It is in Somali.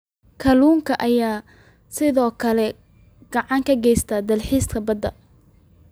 Kalluunka ayaa sidoo kale gacan ka geysta dalxiiska badda.